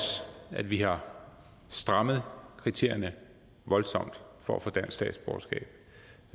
at vi har strammet kriterierne voldsomt for at få dansk statsborgerskab